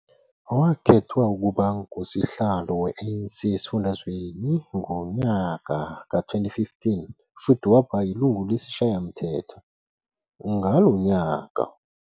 Wakhethwa ukuba ngusihlalo we-ANC esifundazweni ngonyaka wezi-2015 futhi waba yilungu lesishayamthetho ngalo nyaka.